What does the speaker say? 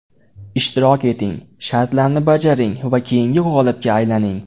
Ishtirok eting, shartlarni bajaring va keyingi g‘olibga aylaning.